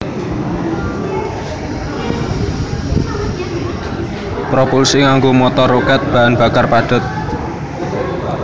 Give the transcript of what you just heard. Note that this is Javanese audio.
Propulsi nganggo motor rokèt bahan bakar padhet